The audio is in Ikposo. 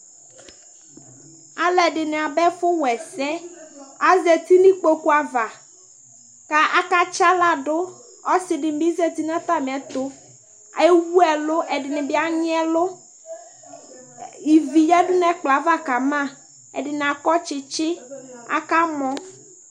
aloɛdini aba ɛfu wa ɛsɛ azati no ikpoku ava k'aka tsi ala do ɔse di bi zati n'atamiɛto ewu ɛlu ɛdini bi anyi ɛlu ivi yadu n'ɛkplɔɛ ava kama ɛdini akɔ tsitsi aka mɔ